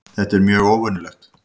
Þetta er mjög óvenjulegt